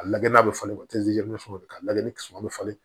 A lagɛ n'a bɛ falen a lagɛ ni kisɛ bɛ falen